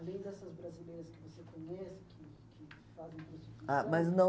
Além dessas brasileiras que você conhece, que que fazem prostituição... Ah, mas não